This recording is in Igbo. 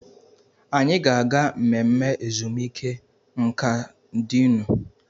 Anyị ga-aga mmemme ezumike nka diinu.